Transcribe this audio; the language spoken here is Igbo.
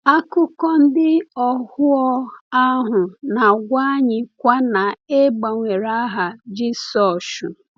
Akụkọ ndị ohuo ahụ na-agwa anyịkwa na e gbanwere aha Jisọshụ.